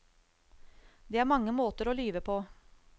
Det er mange måter å lyve på.